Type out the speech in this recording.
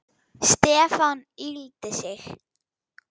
Stefán yggldi sig.